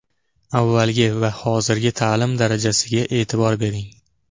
Avvalgi va hozirgi ta’lim darajasiga e’tibor bering.